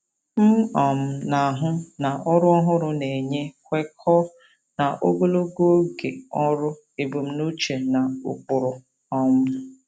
M um na-ahụ na ọrụ ọhụrụ na-enye kwekọọ na ogologo oge ọrụ ebumnuche na ụkpụrụ. um